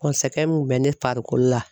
sɛgɛn min bɛ ne farikolo la.